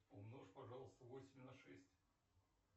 умножь пожалуйста восемь на шесть